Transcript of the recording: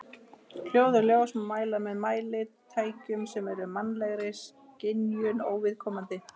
Hljóð og ljós má mæla með mælitækjum sem eru mannlegri skynjun óviðkomandi.